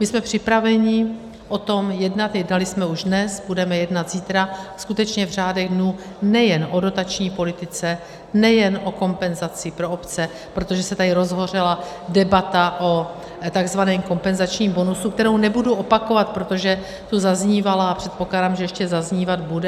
My jsme připraveni o tom jednat, jednali jsme už dnes, budeme jednat zítra, skutečně v řádech dnů, nejen o dotační politice, nejen o kompenzaci pro obce, protože se tady rozhořela debata o tzv. kompenzačním bonusu, kterou nebudu opakovat, protože tu zaznívala a předpokládám, že ještě zaznívat bude.